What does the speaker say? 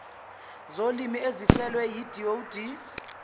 zolimi ezihlelwe yidod